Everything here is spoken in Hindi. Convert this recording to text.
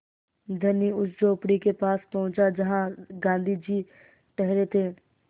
धनी उस झोंपड़ी के पास पहुँचा जहाँ गाँधी जी ठहरे थे